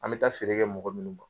An bɛ taa feere kɛ mɔgɔ ninnu ma.